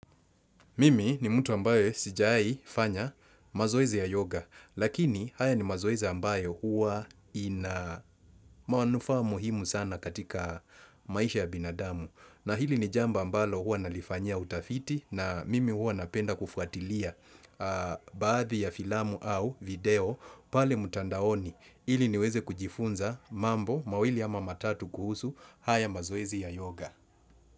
Mimi ni mtu ambayo sijai fanya mazoezi ya yoga, lakini haya ni mazoezi ambayo huwa ina manufaa muhimu sana katika maisha ya binadamu. Na hili ni jambo ambalo huwa nalifanyia utafiti na mimi huwa napenda kufuatilia baadhi ya filamu au video pale mtandaoni. Ili niweze kujifunza mambo mawili ama matatu kuhusu haya mazoezi ya yoga.